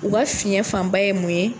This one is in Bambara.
U ka fiɲɛ fanba ye mun ye